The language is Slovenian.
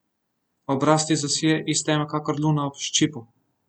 Obraz ti zasije iz teme kakor luna ob ščipu.